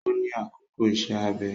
Ó ní àkókò ìṣe-abẹ